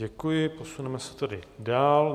Děkuji, posuneme se tedy dál.